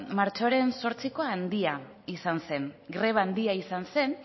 martxoaren zortzikoa handia izan zen greba handia izan zen